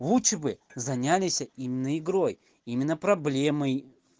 лучше бы занялись именно игрой именно проблемой